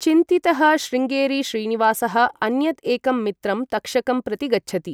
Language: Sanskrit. चिन्तितः शृंगेरी श्रीनिवासः अन्यद् एकं मित्रं तक्षकं प्रति गच्छति।